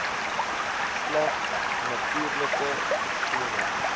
slegs natuurlike persone